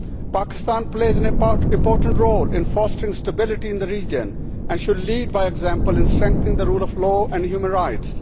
Pakistan plays an important role in fostering stability in the region and should lead by example and strengthen the rule of law and human rights.